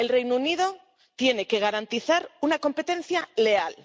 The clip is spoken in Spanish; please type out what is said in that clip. El Reino Unido tiene que garantizar una competencia leal,